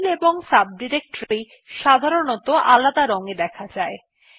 file এবং subdirectory সাধারনতঃ আলাদা রং এ দেখা যায়